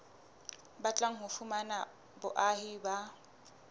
batlang ho fumana boahi ba